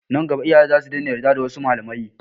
Nan gaba iyaye za su iya daina yarda da wasu malamai.